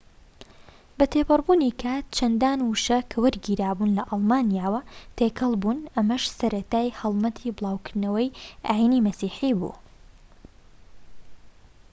بەتێپەڕبوونی کات چەندان وشە کە وەرگیراوبوون لە ئەڵمانیەوە تێکەڵبوون ئەمەش سەرەتای هەڵمەتی بلاوکردنەوەی ئاینی مەسیحی بوو